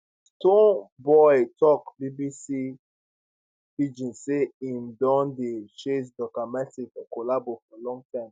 stonebwoy tok bbc pidgin say im don dey chase duncan mighty for collabo for long time